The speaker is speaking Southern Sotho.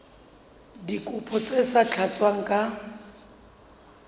dikopo tse sa tlatswang ka